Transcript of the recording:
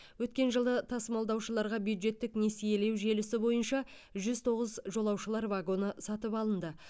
өткен жылы тасымалдаушыларға бюджеттік несиелеу желісі бойынша жүз тоғыз жолаушылар вагоны сатып алынды